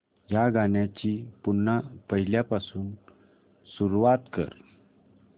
या गाण्या ची पुन्हा पहिल्यापासून सुरुवात कर